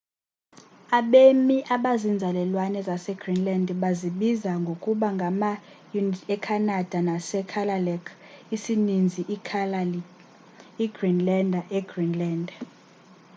abemi abazinzalelwane zasegreenland bazibiza ngokuba ngama-inuit ecanada nasekalaalleq isininzi ikalaallit igreenlander egreenland